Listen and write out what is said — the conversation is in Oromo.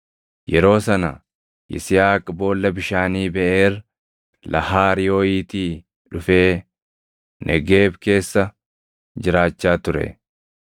Yeroo sana Yisihaaq boolla bishaanii Beʼeer Lahaayirooʼiitii dhufee Negeeb keessa jiraachaa ture.